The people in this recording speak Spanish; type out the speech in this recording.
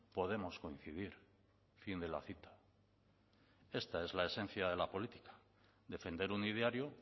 podemos coincidir fin de la cita esta es la esencia de la política defender un ideario